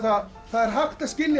er hægt að skilja